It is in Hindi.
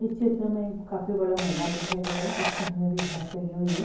इस चित्र में एक काफी मैदान दिखाई दे रहा है जिसपे हरी हरी घास लगी हुई है ।